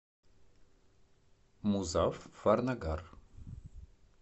музаффарнагар